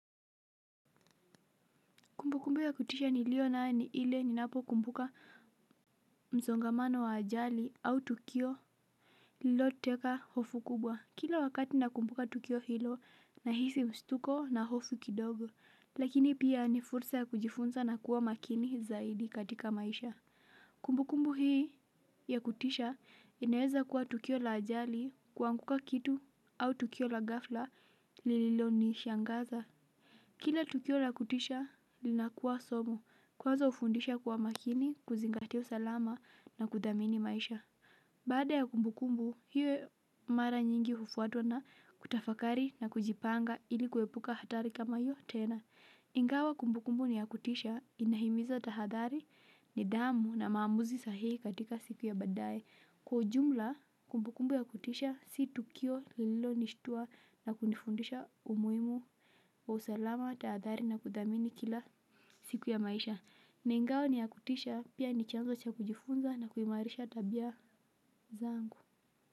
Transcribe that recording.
Kumbu kumbu ya kutisha nilio nayo ni ile ninapo kumbuka msongamano wa ajali au tukio lililoteka hofu kubwa. Kila wakati nakumbuka tukio hilo nahisi mshtuko na hofu kidogo. Lakini pia ni fursa ya kujifunza na kuwa makini zaidi katika maisha. Kumbu kumbu hii ya kutisha inaeza kuwa tukio la ajali kuanguka kitu au tukio la gafla lililonishangaza. Kila tukio na kutisha linakuwa somo kwanza hufundisha kuwa makini kuzingatia usalama na kudhamini maisha. Baada ya kumbukumbu hiyo mara nyingi hufuatwa na kutafakari na kujipanga ili kuepuka hatari kama hiyo tena. Ingawa kumbukumbu ni ya kutisha inahimiza tahadhari nidhamu na maamuzi sahihi katika siku ya baadaye. Kwa ujumla kumbukumbu ya kutisha si tukio lililonishtua na kunifundisha umuhimu wa usalama tahadhari na kudhamini kila siku ya maisha. Na ingawa ni ya kutisha pia ni chanzo cha kujifunza na kuimarisha tabia zangu.